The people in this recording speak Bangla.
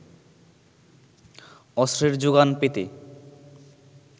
অস্ত্রের যোগান পেতে